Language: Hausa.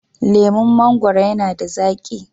Laman mangwaro yana da zaki.